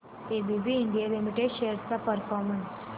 ABB India limited shares चा performance